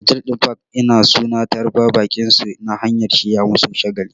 Otal ɗin park-in suna tarbar baƙinsu ta hanyar shirya musu shagali